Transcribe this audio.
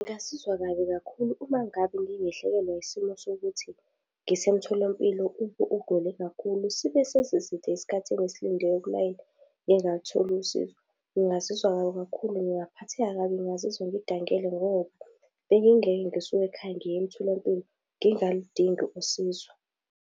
Ngazizwa kabi kakhulu uma ngabe ngingehlekelwa isimo sokuthi ngisemtholampilo ugule kakhulu sibe sesiside isikhathi engisiinde kulayini ngingalutholi usizo. Ngingazizwa kabi kakhulu, ngingaphatheka kabi ngingazizwa ngidangele, ngoba bengingeke ngisuka ekhaya ngiye emtholampilo, ngingaludingi usizo.